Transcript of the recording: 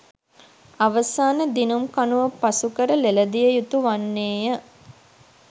අවසාන දිනුම් කණුව පසු කර ළෙලදිය යුතු වන්නේය